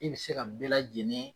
I bɛ se ka nin bɛɛ lanei